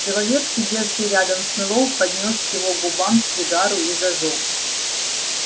человек сидевший рядом с мэллоу поднёс к его губам сигару и зажёг